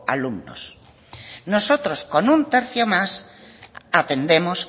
alumnos nosotros con un tercio más atendemos